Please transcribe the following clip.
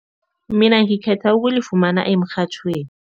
Mina ngikhetha ukulifumana emrhatjhweni.